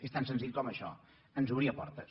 és tan senzill com això ens obria portes